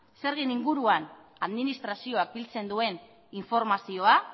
zergen inguruan administrazioak biltzen duen informazioa